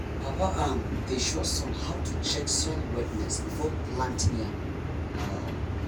papa um dey show son how to check soil wetness before planting yam. um